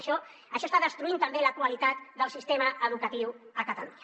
bé això està destruint també la qualitat del sistema educatiu a catalunya